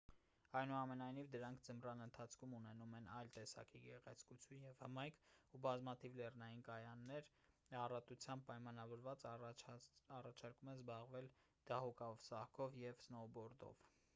այնուամենայնիվ դրանք ձմռան ընթացքում ունենում են այլ տեսակի գեղեցկություն և հմայք ու բազմաթիվ լեռնային կայաններ, յան առատությամբ պայմանավորված առաջարկում են զբաղվել դահուկասահքով և սնոուբորդով: